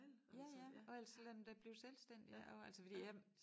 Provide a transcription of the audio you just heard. Ja ja og ellers så lad dem da blive selvstændige ik også altså fordi jeg